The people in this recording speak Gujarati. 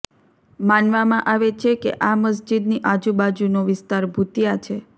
માનવામાં આવે છે કે આ મસ્જિદની આજુબાજુનો વિસ્તાર ભૂતિયા છે